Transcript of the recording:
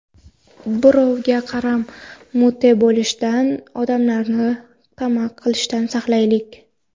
Birovga qaram, mute bo‘lishdan, odamlardan tama qilishdan saqlanaylik.